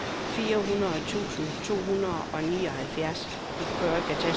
fireogfirs tusind to hundrede og nioghalvtreds